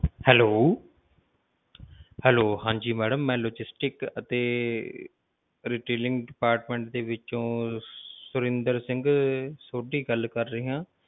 Hello hello ਹਾਂਜੀ madam ਮੈਂ logistic ਅਤੇ retailing department ਦੇ ਵਿੱਚੋ ਸੁਰਿੰਦਰ ਸਿੰਘ ਸੋਢੀ ਗੱਲ ਕਰ ਰਿਹਾ ਹਾਂ।